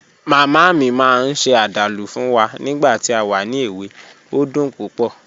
Mama mi maa n se adalu fun wa nigba ti a wa ni ewe, o dun pupo